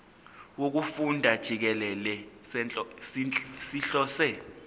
wokufunda jikelele sihlose